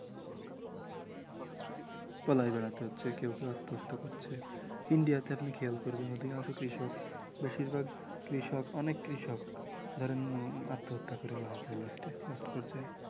পালিয়ে বেড়াতে হচ্ছে কেউ কেউ আত্মহত্যা করছে ইন্ডিয়াতে আপনি খেয়াল করবেন অধিকাংশ কৃষক বেশিরভাগ কৃষক অনেক কৃষক ধরেন আত্মহত্যা করে মারা যায় last এ last পর্যায়ে